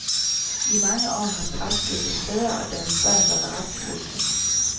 I mange år har fraskilte fædre og deres børn været retsløse.